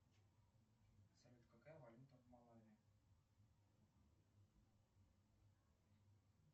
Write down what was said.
салют какая валюта в малаве